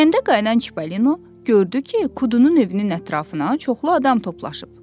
Kəndə qayıdan Çipalino gördü ki, Kudunun övünün ətrafına çoxlu adam toplaşıb.